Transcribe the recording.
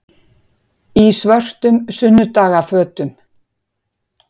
Í svörtum sunnudagafötum.